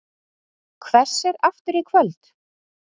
Hvessir aftur í kvöld